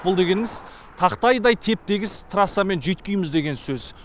бұл дегеніңіз тақтайдай теп тегіс трассамен жүйіткиміз деген сөз